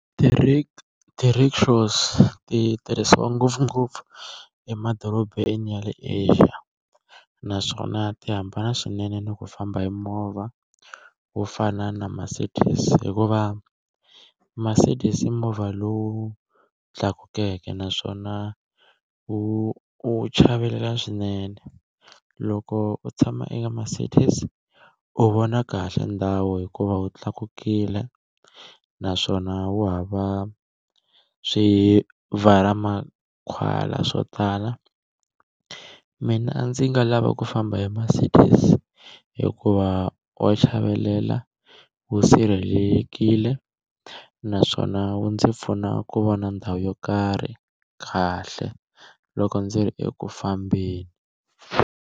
Ti ti-rickshaws ti tirhisiwa ngopfungopfu emadorobeni ya le Asia naswona ti hambana swinene ni ku famba hi movha wo fana na Mercedes hikuva Mercedes i movha lowu wu tlakukeke naswona wu u chavelela swinene, loko u tshama eka Mercedes u vona kahle ndhawu hikuva wu tlakukile naswona wu hava swi swo tala, mina a ndzi nga lava ku famba hi Mercedes hikuva wa chavelela, wu sirhelelekile naswona wu ndzi pfuna ku vona ndhawu yo karhi kahle loko ndzi ri eku fambeni.